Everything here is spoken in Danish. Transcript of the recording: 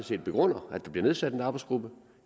det begrunder at der bliver nedsat en arbejdsgruppe